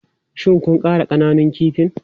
Shin kun ƙara ƙananun kifin?